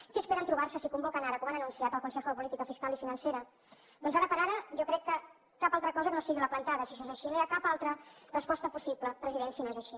què esperen trobar se si convoquen ara com han anunciat al consejo de política fiscal i financera doncs ara per ara jo crec que cap altra cosa que no sigui la plantada si això és així no hi ha cap altra resposta possible president si no és així